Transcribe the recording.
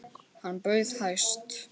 Hann bauð hæst.